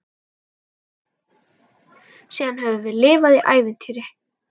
Síðan höfum við lifað í ævintýri.